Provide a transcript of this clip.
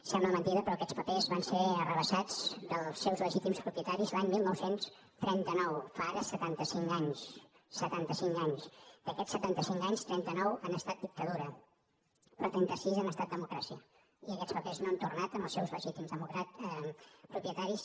sembla mentida però aquests papers van ser arrabassats dels seus legítims propietaris l’any dinou trenta nou fa ara setanta cinc anys setanta cinc anys d’aquests setanta cinc anys trenta nou han estat dictadura però trenta sis han estat democràcia i aquests papers no han tornat als seus legítims propietaris